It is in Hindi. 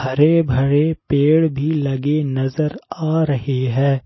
हरे भरे पेड़ भी लगे नजर आ रहे हैं।